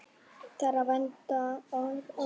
Þeirra vandi er nokkur.